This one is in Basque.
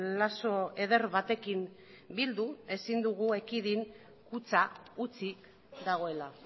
lazo eder batekin bildu ezin dugu ekidin kutxa utzik dagoela